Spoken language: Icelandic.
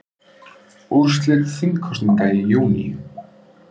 Úrslit þingkosninga í júní